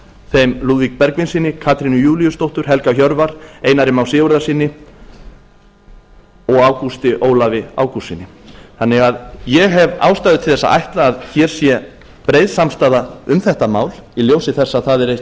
þeim lúðvík bergvinssyni katrínu júlíusdóttur helga hjörvar einari má sigurðarsyni a ágústi ólafi ágústssyni þannig að ég hef ástæðu til að ætla að hér sé breið samstaða um þetta mál í ljósi þess að það er